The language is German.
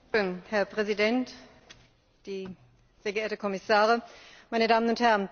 Herr Präsident, sehr geehrte Kommissare, meine Damen und Herren!